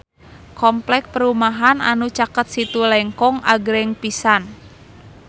Kompleks perumahan anu caket Situ Lengkong agreng pisan